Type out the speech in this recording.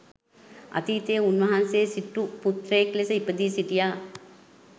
අතීතයේ උන්වහන්සේ සිටු පුත්‍රයෙක් ලෙස ඉපදී සිටියා.